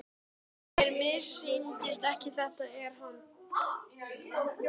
Já, mér missýnist ekki, þetta er hann.